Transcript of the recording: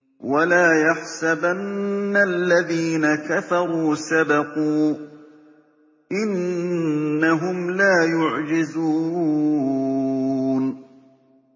وَلَا يَحْسَبَنَّ الَّذِينَ كَفَرُوا سَبَقُوا ۚ إِنَّهُمْ لَا يُعْجِزُونَ